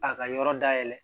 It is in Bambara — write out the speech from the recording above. A ka yɔrɔ dayɛlɛ